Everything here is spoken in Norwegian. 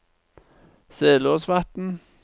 Selåsvatn